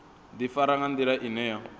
ḓifara nga nḓila ine ya